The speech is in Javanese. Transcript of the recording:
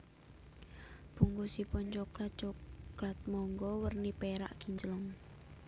Bungkusipun coklat Coklat Monggo werni perak kinclong